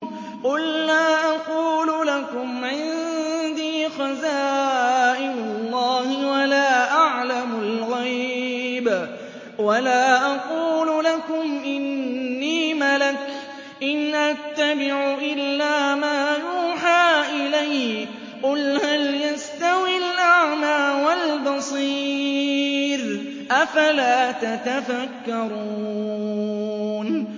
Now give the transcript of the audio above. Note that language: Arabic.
قُل لَّا أَقُولُ لَكُمْ عِندِي خَزَائِنُ اللَّهِ وَلَا أَعْلَمُ الْغَيْبَ وَلَا أَقُولُ لَكُمْ إِنِّي مَلَكٌ ۖ إِنْ أَتَّبِعُ إِلَّا مَا يُوحَىٰ إِلَيَّ ۚ قُلْ هَلْ يَسْتَوِي الْأَعْمَىٰ وَالْبَصِيرُ ۚ أَفَلَا تَتَفَكَّرُونَ